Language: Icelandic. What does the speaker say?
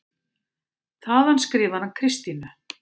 Þaðan skrifar hann Kristínu